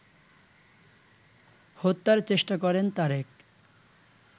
হত্যার চেষ্টা করেন তারেক